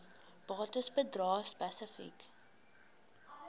bates bedrae spesifiek